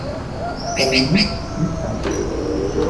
тайник искать